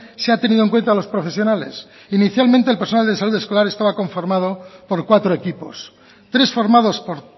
se ha tenido en cuenta a los profesionales inicialmente el personal de salud escolar estaba conformado por cuatro equipos tres formados por